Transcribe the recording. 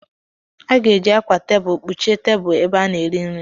A ga-eji akwa tebụlụ kpuchie tebụlụ ebe a na-ere nri m.